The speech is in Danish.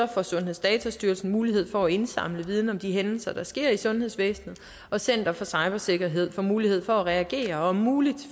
får sundhedsdatastyrelsen mulighed for at indsamle viden om de hændelser der sker i sundhedsvæsenet og center for cybersikkerhed får mulighed for at reagere og om muligt